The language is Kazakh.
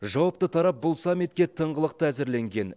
жауапты тарап бұл саммитке тыңғылықты әзірленген